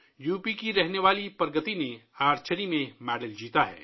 UP کی رہنے والی پرگتی نے تیر اندازی میں تمغہ جیتا ہے